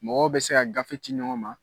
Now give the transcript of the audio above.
Mɔgɔ bɛ se ka gafe ci ɲɔgɔn ma.